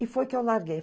E foi que eu larguei.